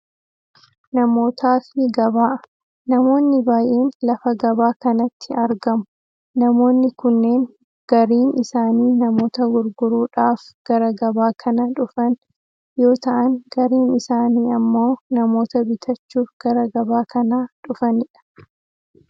Namootafi gabaa, namoonni baayyeen lafa gabaa kanatti argamu, namoonni kunneen gariin isaanii namoota gurguruudhaaf gara gabaa kana dhufan yoo ta'an gariin isaanii ammoo namoota bitachuuf gara gabaa kana dhufani dha.